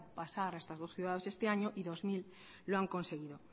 pasar a estas dos ciudades este año y dos mil lo han conseguido